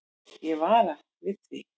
Ég vara við því.